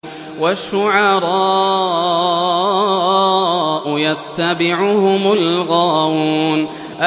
وَالشُّعَرَاءُ يَتَّبِعُهُمُ الْغَاوُونَ